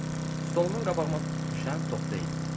Yox, stolumun qabağıma düşən top deyil.